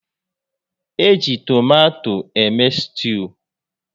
Eji tomato eme stuu